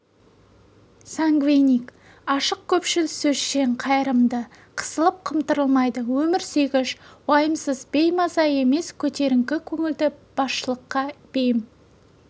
сангвиник ашық көпшіл сөзшең қайырымды қысылып-қымтырылмайды өмір сүйгіш уайымсыз беймаза емес көтеріңкі көңілді басшылыққа бейім